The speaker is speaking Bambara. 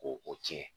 Ko o tiɲɛ